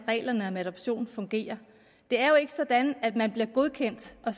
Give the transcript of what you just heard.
reglerne om adoption fungerer det er jo ikke sådan at man bliver godkendt og